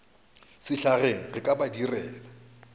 sehlageng re ka ba direla